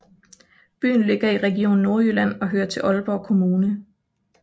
Byen ligger i Region Nordjylland og hører til Aalborg Kommune